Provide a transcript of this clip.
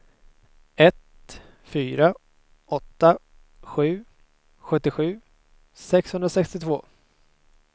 ett fyra åtta sju sjuttiosju sexhundrasextiotvå